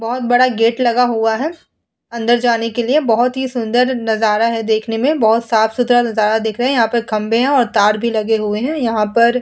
बहोत बड़ा गेट लगा हुआ है अंदर जाने के लिए बहोत ही सुंदर नजरा है देखने में बहोत साफ सुथरा नजारा देख रहे। यहां पर खंभे और तार भी लगे हुए हैं। यहां पर --